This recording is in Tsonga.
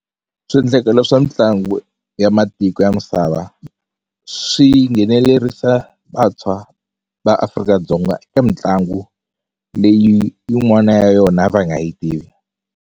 Swiendlakalo swa mitlangu ya matiko ya misava swi nghenelerisa vantshwa va Afrika-Dzonga eka mitlangu leyi yin'wana ya yona a va nga yi tivi.